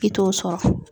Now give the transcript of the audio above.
I t'o sɔrɔ